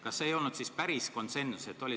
Kas see ei olnud siis päris konsensus?